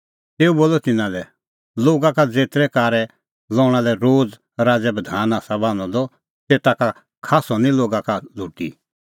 तेऊ बोलअ तिन्नां लै लोगा का ज़ेतरै कारै लणा लै रोम राज़ै बधान आसा बणांअ द तेता का खास्सअ निं लोगा का लुटी